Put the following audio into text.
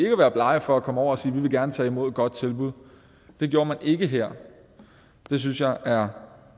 at være blege for at komme over og sige vi vil gerne tage imod et godt tilbud det gjorde man ikke her det synes jeg er